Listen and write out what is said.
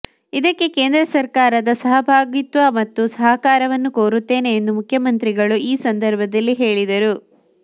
ಇದಕ್ಕೆ ಕೇಂದ್ರ ಸರ್ಕಾರದ ಸಹಭಾಗಿತ್ವ ಮತ್ತು ಸಹಕಾರವನ್ನು ಕೋರುತ್ತೇನೆ ಎಂದು ಮುಖ್ಯಮಂತ್ರಿಗಳು ಈ ಸಂದರ್ಭದಲ್ಲಿ ಹೇಳಿದರು